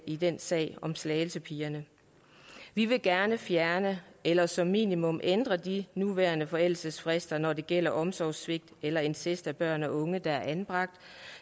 i den sag om slagelsepigerne vi vil gerne fjerne eller som minimum ændre de nuværende forældelsesfrister når det gælder omsorgssvigt eller incest over for børn og unge der er anbragt